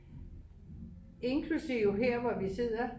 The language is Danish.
inklusiv her hvor vi sidder